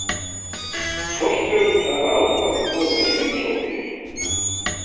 Forstjórinn þar ákvað að koma í heimsókn til